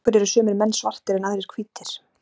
af hverju eru sumir menn svartir en aðrir hvítir